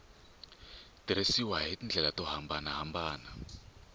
tirhisiwa hi tindlela to hambanahambana